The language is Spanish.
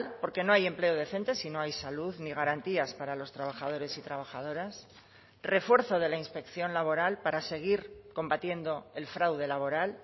porque no hay empleo decente si no hay salud ni garantías para los trabajadores y trabajadoras refuerzo de la inspección laboral para seguir combatiendo el fraude laboral